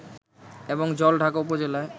এবং জলঢাকা উপজেলায়